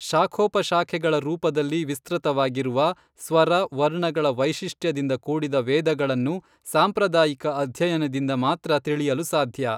ಶಾಖೋಪಶಾಖೆಗಳ ರೂಪದಲ್ಲಿ ವಿಸ್ತೃತವಾಗಿರುವ, ಸ್ವರ, ವರ್ಣಗಳ ವೈಶಿಷ್ಟ್ಯದಿಂದ ಕೂಡಿದ ವೇದಗಳನ್ನು ಸಾಂಪ್ರದಾಯಿಕ ಅಧ್ಯಯನದಿಂದ ಮಾತ್ರ ತಿಳಿಯಲು ಸಾಧ್ಯ.